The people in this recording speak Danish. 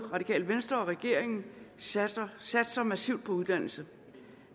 radikale venstre og regeringen satser satser massivt på uddannelse